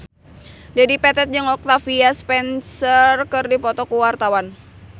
Dedi Petet jeung Octavia Spencer keur dipoto ku wartawan